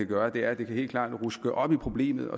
gøre og det er at det helt klart kan ruske op i problemet